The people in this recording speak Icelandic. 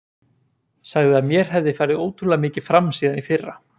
Sagði að mér hefði farið ótrúlega mikið fram síðan í fyrra.